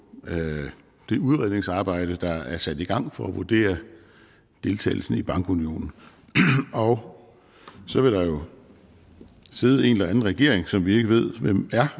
det udredningsarbejde der er sat i gang for at vurdere deltagelsen i bankunionen og så vil der jo sidde en eller anden regering som vi ikke ved hvem er